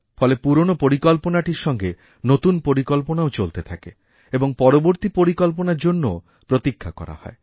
ফলে পুরনো পরিকল্পনাটির সঙ্গে নতুন পরিকল্পনাও চলতে থাকে এবংপরবর্তী পরিকল্পনার জন্যও প্রতীক্ষা করা হয়